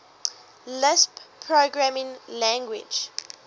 lisp programming language